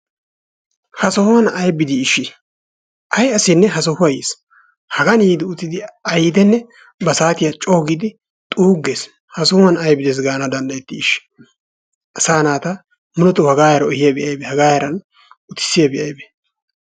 Ha sohuwaan aybi dii eshi? ay asinne ha sohuwaa yees. Hagaan yiidi uttidinne ba saatiyaa coogidi xuuggees. Ha sohuwaan aybi dees gaana dandayettii eshi? Asaa naata muleetoo hagaa heeri ehiyaabi aybee? Hagaa heeran utisiyaabi aybee?